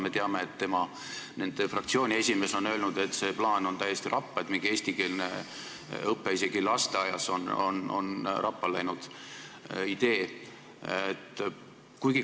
Me teame, et nende fraktsiooni esimees on öelnud, et see plaan, et on mingi eestikeelne õpe isegi lasteaias, on rappa läinud idee.